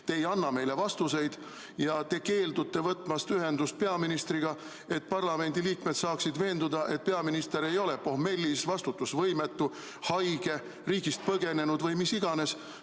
Te ei anna meile vastuseid ja keeldute võtmast ühendust peaministriga, et parlamendiliikmed saaksid veenduda, et peaminister ei ole pohmellis, vastutusvõimetu, haige, riigist põgenenud või mis iganes.